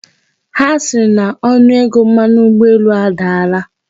Ha sịrị na onuego mmanụ ụgbọelu adaala?